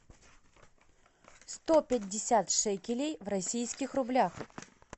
сто пятьдесят шекелей в российских рублях